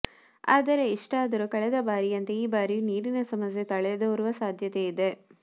ಆದರೆ ಇಷ್ಟಾದರೂ ಕಳೆದ ಬಾರಿಯಂತೆ ಈ ಬಾರಿಯೂ ನೀರಿನ ಸಮಸ್ಯೆ ತಲೆದೋರುವ ಸಾಧ್ಯತೆ ಇದೆ